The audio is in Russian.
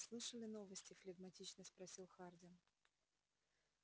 слышали новости флегматично спросил хардин